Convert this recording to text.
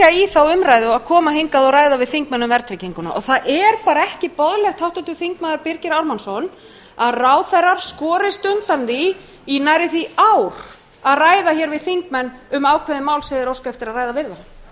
þá umræðu að koma hingað og ræða við þingmenn um verðtrygginguna það er bara ekki boðlegt háttvirtur þingmaður birgir ármannsson að ráðherrar skorist undan því í nærri því ár að ræða hér við þingmenn um ákveðið mál sem þeir óska eftir að ræða við þá